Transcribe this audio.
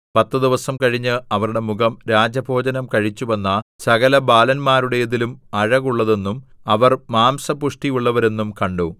പത്തു ദിവസം കഴിഞ്ഞ് അവരുടെ മുഖം രാജഭോജനം കഴിച്ചുവന്ന സകലബാലന്മാരുടേതിലും അഴകുള്ളതെന്നും അവർ മാംസപുഷ്ടിയുള്ളവരെന്നും കണ്ടു